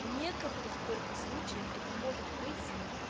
в некоторых только случаях это может быть